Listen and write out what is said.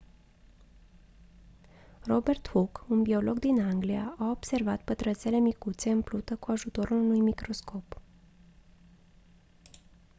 robert hooke un biolog din anglia a observat pătrățele micuțe în plută cu ajutorul unui microscop